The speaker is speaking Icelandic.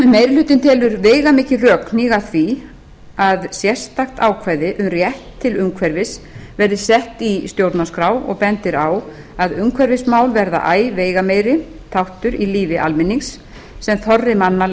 meiri hlutinn telur veigamikil rök hníga að því að sérstakt ákvæði um rétt til umhverfis verði sett í stjórnarskrá og bendir á að umhverfismál verða æ veigameiri þáttur í lífi almennings sem þorri manna